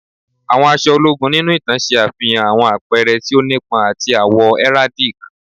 Àwọn aṣọ ologun ninu itan ṣe afihan awọn apẹrẹ ti o nipọn ati awọn awọ heraldic